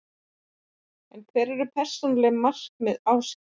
En hver eru persónuleg markmið Ásgeirs?